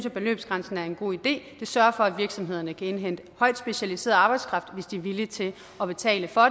at beløbsgrænsen er en god idé den sørger for at virksomhederne kan indhente højt specialiseret arbejdskraft hvis de er villige til at betale for